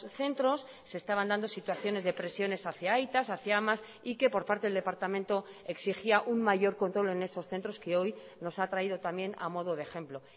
centros se estaban dando situaciones de presiones hacia aitas hacia amas y que por parte del departamento exigía un mayor control en esos centros que hoy nos ha traído también a modo de ejemplo